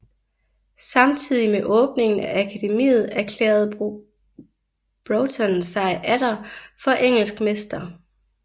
Samtidig med åbningen af akademiet erklærede Broughton sig atter for engelsk mester